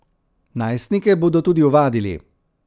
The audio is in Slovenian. Najstnike bodo tudi ovadili.